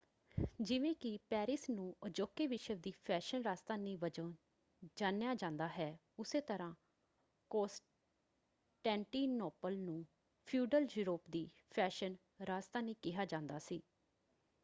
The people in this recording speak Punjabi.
ਜਿਵੇਂ ਕਿ ਪੈਰਿਸ ਨੂੰ ਅਜੋਕੇ ਵਿਸ਼ਵ ਦੀ ਫੈਸ਼ਨ ਰਾਜਧਾਨੀ ਵਜੋਂ ਜਾਣਿਆ ਜਾਂਦਾ ਹੈ ਉੱਸੇ ਤਰ੍ਹਾ ਕਾਂਸਟੈਂਟੀਨੋਪਲ ਨੂੰ ਫਿਊਡਲ ਯੂਰੋਪ ਦੀ ਫੈਸ਼ਨ ਰਾਜਧਾਨੀ ਕਿਹਾ ਜਾਂਦਾ ਸੀ।